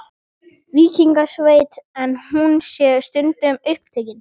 Víkingasveitin, en hún sé stundum upptekin.